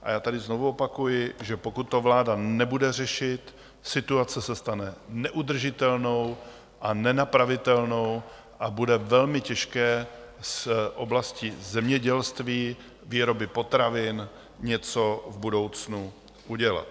A já tady znovu opakuji, že pokud to vláda nebude řešit, situace se stane neudržitelnou a nenapravitelnou a bude velmi těžké s oblastí zemědělství, výroby potravin, něco v budoucnu udělat.